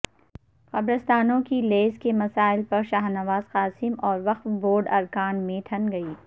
قبرستانوں کی لیز کے مسئلہ پر شاہنواز قاسم اور وقف بورڈ ارکان میں ٹھن گئی